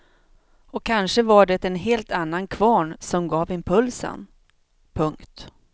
Och kanske var det en helt annan kvarn som gav impulsen. punkt